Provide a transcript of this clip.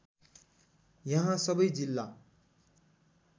यहाँ सबै जिल्ला